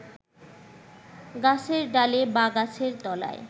গাছের ডালে বা গাছের তলায়